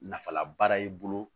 Nafalabaara y'i bolo